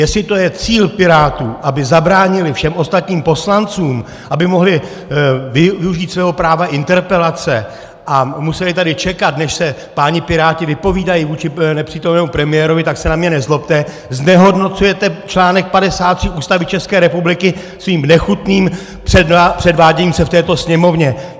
Jestli to je cíl pirátů, aby zabránili všem ostatním poslancům, aby mohli využít svého práva interpelace a museli tady čekat, než se páni piráti vypovídají vůči nepřítomnému premiérovi, tak se na mě nezlobte, znehodnocujete článek 53 Ústavy České republiky svým nechutným předváděním se v této Sněmovně!